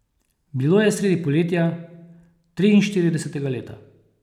Bilo je sredi poletja, triinštiridesetega leta.